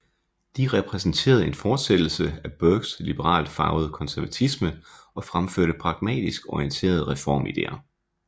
De repræsenterede en fortsættelse af Burkes liberalt farvede konservatisme og fremførte pragmatisk orienterede reformideer